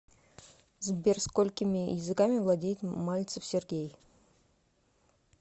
сбер сколькими языками владеет мальцев сергей